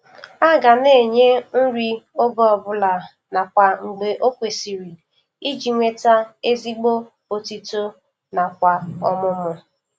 Aga na-enye nri oge obụla nakwa mgbe o kwesiri iji nweta ezigbo otito nakwa ọmụmụ